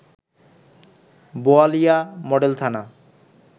Boalia model থানা